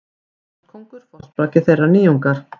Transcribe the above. Englandskóngur forsprakki þeirrar nýjungar.